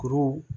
Kuru